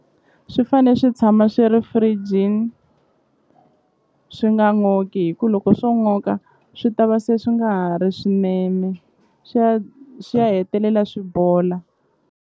Swi fane swi tshama swi ri firijini swi nga n'oki hi ku loko swo n'oka swi ta va se swi nga ha ri swinene swi ya swi ya hetelela swi bola.